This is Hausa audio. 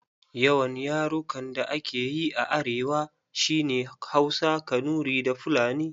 Yawan yarukan da ake yi a arewa shi ne Hausa, Kanuri da Fulani.